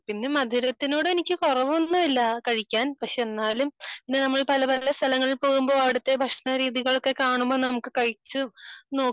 പിന്നെ മധുരത്തിനോട് എനിക്ക് കുറവൊന്നും ഇല്ല കഴിക്കാൻ പക്ഷെ എന്നാലും പിന്നെ നമ്മൾ പല പല സ്ഥലങ്ങളിൽ പോകുമ്പോൾ അവിടുത്തെ ഭക്ഷണ രീതികൾ കാണുമ്പോൾ നമുക്ക് കഴിച്ചു നോക്കും